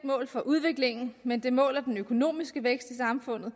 mål for udviklingen men det måler den økonomiske vægt i samfundet og